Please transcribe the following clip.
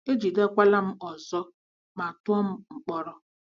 E jidekwara m ọzọ ma tụọ m mkpọrọ.